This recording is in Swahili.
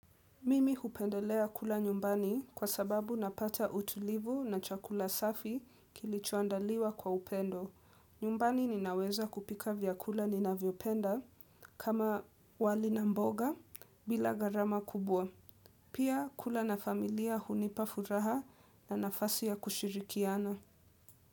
Mimi hupendelea kula nyumbani kwa sababu napata utulivu na chakula safi kilichoandaliwa kwa upendo. Nyumbani ninaweza kupika vyakula ninavyopenda kama wali na mboga bila gharama kubwa. Pia kula na familia hunipa furaha na nafasi ya kushirikiana.